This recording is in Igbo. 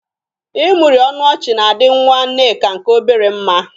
Ịmụri ọnụ ọchị na-adị nnwa Nneka nke obere mma.